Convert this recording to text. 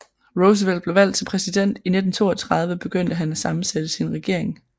Roosevelt blev valgt til præsident i 1932 begyndte han at sammensætte sin regering